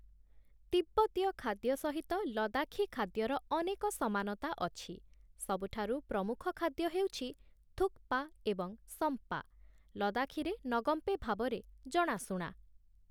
ତିବ୍ବତୀୟ ଖାଦ୍ୟ ସହିତ ଲଦାଖୀ ଖାଦ୍ୟର ଅନେକ ସମାନତା ଅଛି, ସବୁଠାରୁ ପ୍ରମୁଖ ଖାଦ୍ୟ ହେଉଛି ଥୁକ୍‌ପା ଏବଂ ସମ୍ପା, ଲଦାଖୀରେ ନଗମ୍ପେ ଭାବରେ ଜଣାଶୁଣା ।